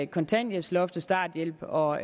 kontanthjælpsloft starthjælp og